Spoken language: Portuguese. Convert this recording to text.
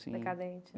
Assim decadente.